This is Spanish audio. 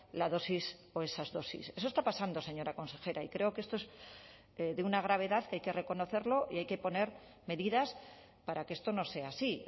la dosis o esas dosis eso está pasando señora consejera y creo que esto es de una gravedad que hay que reconocerlo y hay que poner medidas para que esto no sea así